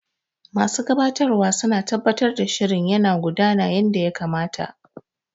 Masu gabatarwa suna tabbatar da shirin yana gudana yanda ya kamata.